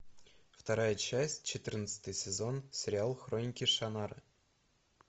вторая часть четырнадцатый сезон сериал хроники шаннары